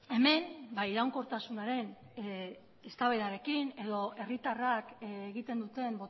hemen iraunkortasunaren eztabaidarekin edo herritarrak egiten duten